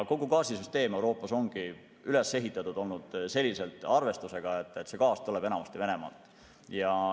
Kogu gaasisüsteem Euroopas ongi üles ehitatud arvestusega, et see gaas tuleb enamasti Venemaalt.